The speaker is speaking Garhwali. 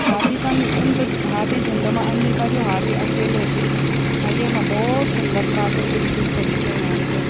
हाथी तन उन त हाथी झुण्ड मा आन्दी पर यु हाथी अकेले ही च अ येमा भौत सुन्दर प्राकर्तिक दृश्य दिखेणु हमथे।